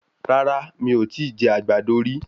Rárá, mi ò tíì jẹ àgbàdo rí.